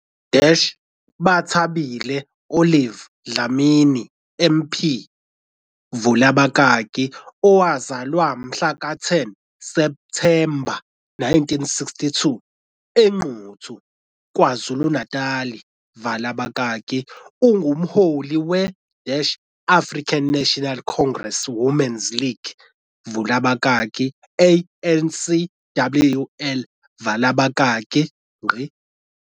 U-Bathabile Olive Dlamini MP, vula abakaki, owazalwa ngomhlaka 10 Septhemba 1962, eNquthu, KwaZulu-Natal, vala abakaki, ungumholi we- African National Congress Women's League, vula abakaki, ANCWL, vala abakaki.